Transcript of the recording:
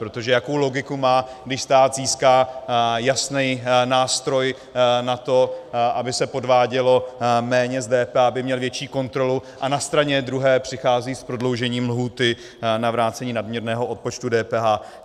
Protože jakou logiku má, když stát získá jasný nástroj na to, aby se podvádělo méně s DPH, aby měl větší kontrolu, a na straně druhé přichází s prodloužením lhůty na vrácení nadměrného odpočtu DPH?